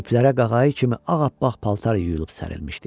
İplərə qağayı kimi ağappaq paltar yuyulub sərilmişdi.